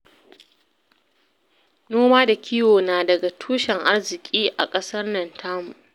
Noma da kiwo na daga tushen arziki a ƙasar nan tamu